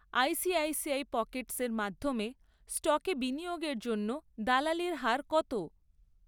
ICICI পকেটসের মাধ্যমে স্টকে বিনিয়োগের জন্য দালালির হার কত?